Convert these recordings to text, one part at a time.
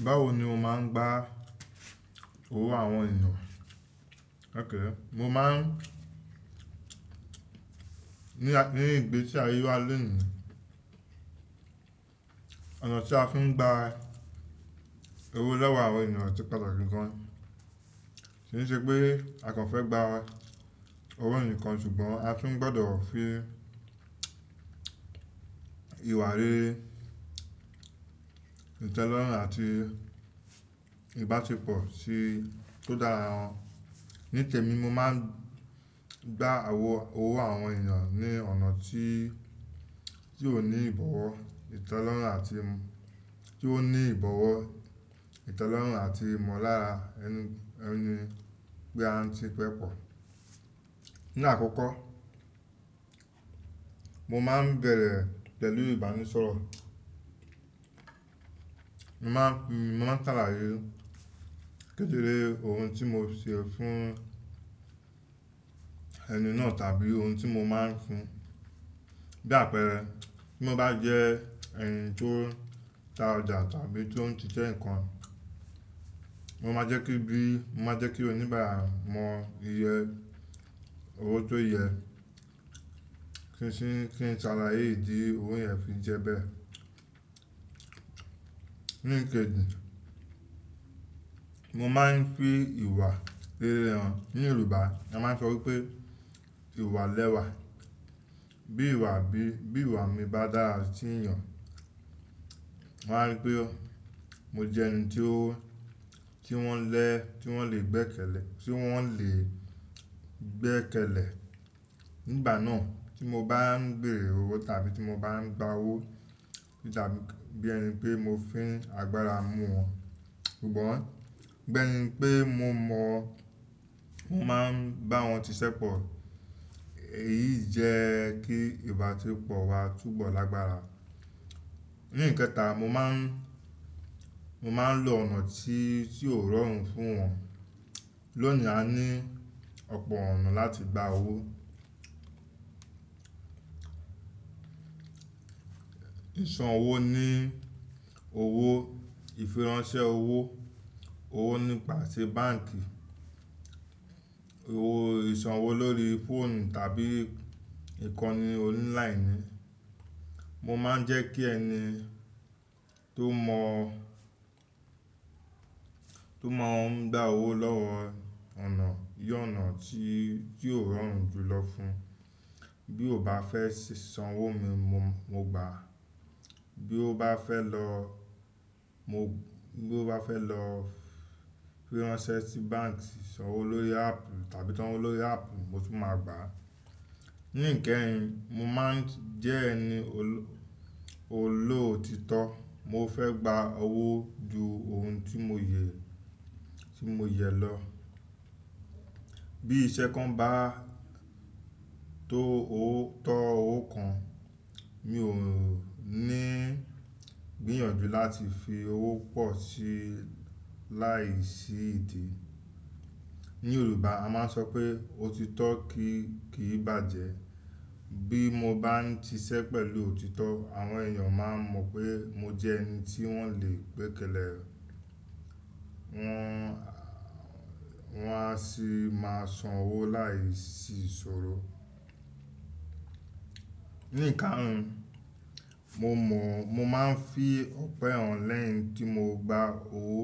Báwo ni o máa ń gba owó àwọn ènìyàn? Ókay, mo máa ń, ní, ní ìgbésí ayé wá léèni, ọ̀nà tí a fi ń gba owó lọ́wọ́ àwọn ènìyàn ti pàtàkì gan. Kí n ṣe pé a kàn fẹ́ gba owó ẹnìkan ṣùgbọ́n a tún gbọdọ̀ fi ìwà rere, ìtẹ́lọ́rùn àti ìbáṣepọ̀ sí tó dára hàn. Nítemi, mo máa ń gba àwọ-- owó àwọn ènìyàn ní ọ̀nà tí, tí ò ní ìbọ̀wọ̀, ìtẹ́lọ́rùn àti m-- tí ó ní ìbọ̀wọ̀, ìtẹ́lọ́rùn àti ìmọ̀lára ẹni, ẹni pé a ń ṣe pepọ. Ní àkọ́kọ́, mo máa ń bẹ̀rẹ̀ pẹ̀lú ìbánisọ̀rọ̀. Mo máa ń, mo máa ń ṣàlàyé kédẹ́rẹ́ ohun tí mo ṣe fún ẹni náà tàbí ohun tí mo máa ń fun. Bí àpẹẹrẹ, bí mo bá jẹ́ ẹni tó ta ọjà tàbí tó ń ṣiṣẹ́ nǹkan, mo máa jẹ́ kí bí, mo máa jẹ́ kí oníbàárà mọ iye owó tó yẹ, kí n sì, kí n ṣàlàyé ìdí owo yẹn fi jẹ bẹ́ẹ̀. Ní ìkẹ́jì, mo máa ń fi ìwà rere hàn. Ni Yorùbá mo máa ń sọ wipé "ìwà lẹ́wa". Bí ìwà bí, bí ìwà mi bá dára sí ènìyàn, wọ́n á rí pé ó, mo jẹ́ ẹni tí ó, tí wọ́n lè, tí wọ́n lè gbẹ́kẹ̀lẹ̀, tí wọ́n lè gbẹ́kẹ̀lẹ̀. Nígbà náà tí mo bá ń bere owó tàbí tí mo bá ń gba owó kò tá bí ẹni pé mo fín agbára mú wọn, ṣùgbọ́n bí enipé mo mọ̀ ọ́n, mo máa ń bá wọn ṣiṣẹ́pọ̀. Èyí jẹ́ kí ìbáṣepọ̀ wa túbọ̀ lágbára. Ní ìkẹta, mo máa ń, mo máa ń lo ọ̀nà tí, tí ò rọrùn fún wọn. Lónìí a ní ọ̀pọ̀ ọ̀nà láti gba owó. Ìsanwó ní owó, ìfiránṣẹ́ owó, owó nípa ṣe báǹkì, owó ìsanwó lórí fóònù tàbí ìkànnì online ni. Mo máa ń jẹ́ kí ẹni tó mọ̀ ọ́n, tó máa ń gba owó lọ́wọ́ ọ̀nà, yí ọ̀nà tí, tí ò rọrùn jù lọ fún. Bí ó bá fẹ́ ṣì sanwó mi mo, mo gbàá. Bí ó bá fẹ́ lọ, mo, bí ó bá fẹ́ lọ fíránṣẹ́ sí báǹkì, sanwó lórí áàpù tàbí sanwó lórí áàpù mo sì máa gbàá. Ní ìkẹyìn, mo máa ń jẹ́ ẹni olóòtítọ́. Mo fẹ́ gba owó ju ohun tí mo yẹ, tí mo yẹ lọ. Bí iṣẹ́ kan bá tó owó, tọ́ owó kan, mi ò ní gbìyànjú láti fi owó pọ̀ sí láìsí ìdí. Ní Yorùbá a máa ń sọ pé "òtítọ́ kì í, kì í bàjẹ́". Bí mo bá ń ṣiṣẹ́ pẹ̀lú òtítọ́, àwọn ènìyàn máa mọ̀ pé mo jẹ́ ẹni tí wọ́n lè gbẹ́kẹ̀lẹ̀. Wọ́n a, wọ́n a sì máa sanwó láìsí ìṣòro. Ní ìkarun, mo mọ̀, mo máa ń fi ọpẹ́ hàn lẹ́yìn tí mo gba owó.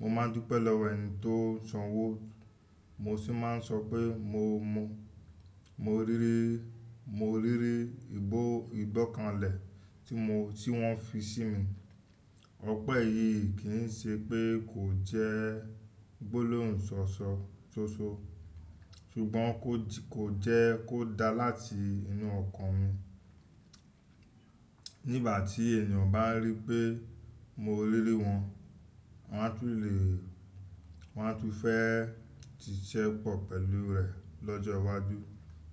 Mo máa ń dúpẹ́ lọ́wọ́ ẹni tó sanwó. Mo sì máa ń sọ pé mo mọ̀, mo rí rí, mo rí rí ìbò, ìbọ̀kanlẹ̀ tí mo, tí wọ́n fi sí mi. Ọpẹ́ yìí kì í ṣe pé kò jẹ́ gbólóhùnsọ́ṣọ́ sóṣó, ṣùgbọ́n kò jí, kò jẹ́ kó dá láti inú ọkàn mi. Nígbà tí ènìyàn bá rí pé mo rí rí wọn, wọ́n á tún lè, wọ́n á tún fẹ́ ṣiṣẹ́pọ̀ pẹ̀lú rẹ̀ lọ́jọ́ iwájú.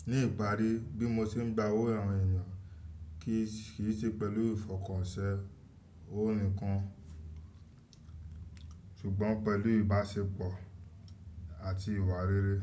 Ní ìparí, bí mo ṣe ń gba owó àwọn ènìyàn kì í sì, kì í ṣe pẹ̀lú ìfọkànsẹ́ owó nìkan, ṣùgbọ́n pẹ̀lú ìbáṣepọ̀ àti ìwà rere.